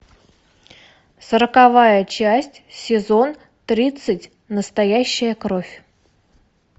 сороковая часть сезон тридцать настоящая кровь